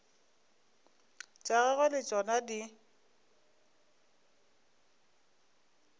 tša gagwe le tšona di